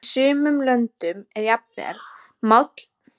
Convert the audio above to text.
Í sumum löndum er jafnvel mállýskumunur á táknmáli milli landsvæða.